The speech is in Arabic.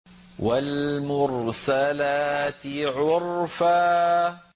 وَالْمُرْسَلَاتِ عُرْفًا